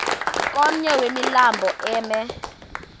komnye wemilambo emi